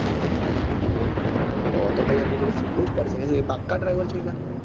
તો તો ભાઈ એમની જોડ તો શીખવું જ પડશે કેંમ કે એ તો પાકા drive છે એરિયા